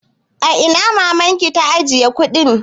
A ina mamanki ta ajiye kuɗin?